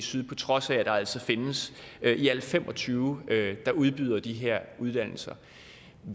syd på trods af at der altså findes i alt fem og tyve udbydere af de her uddannelser